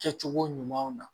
Kɛcogo ɲuman na